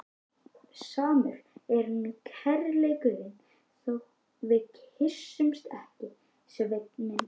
Samur er nú kærleikurinn þó við kyssumst ekki, Sveinn minn.